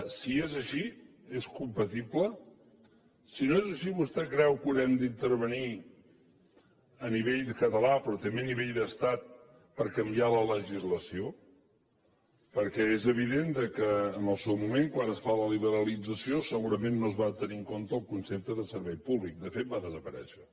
si és així és compatible si no és així vostè creu que haurem d’intervenir a nivell català però també a nivell d’estat per canviar la legislació perquè és evident que en el seu moment quan es fa la liberalització segurament no es va tenir en compte el concepte de servei públic de fet va desaparèixer